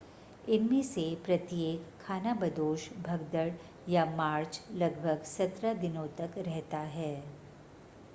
इनमें से प्रत्येक खानाबदोश भगदड़ या मार्च लगभग 17 दिनों तक रहता है